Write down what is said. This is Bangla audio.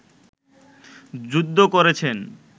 যুদ্ধ করেছেন